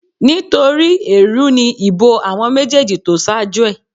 Nítorí èèrú ni ìbò àwọn méjèèjì tó ṣáájú ẹ̀